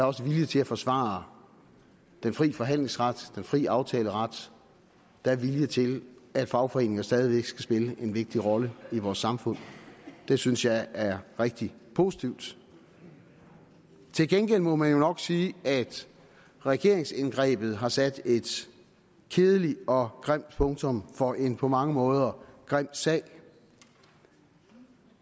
også vilje til at forsvare den fri forhandlingsret den fri aftaleret der er vilje til at fagforeninger stadig væk skal spille en vigtig rolle i vores samfund det synes jeg er rigtig positivt til gengæld må man jo nok sige at regeringsindgrebet har sat et kedeligt og grimt punktum for en på mange måder grim sag